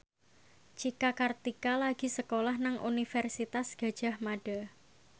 Cika Kartika lagi sekolah nang Universitas Gadjah Mada